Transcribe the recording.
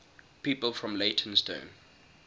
people from leytonstone